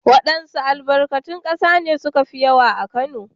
Waɗanns albarkatun ƙasa ne suka fi yawa a Kano?